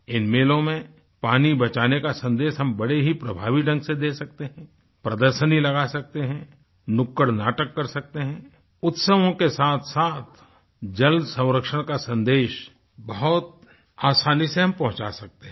इन मेलों में पानी बचाने का सन्देश हम बड़े ही प्रभावी ढंग से दे सकते हैं प्रदर्शनी लगा सकते हैं नुक्कड़ नाटक कर सकते हैं उत्सवों के साथसाथ जल संरक्षण का सन्देश बहुत आसानी से हम पहुँचा सकते हैं